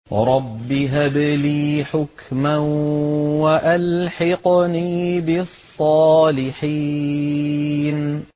رَبِّ هَبْ لِي حُكْمًا وَأَلْحِقْنِي بِالصَّالِحِينَ